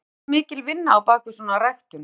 En liggur ekki mikil vinna á bakvið svona ræktun?